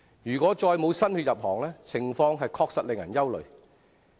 如果再沒有新血入行，情況確實令人憂慮。